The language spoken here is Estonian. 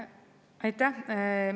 Aitäh!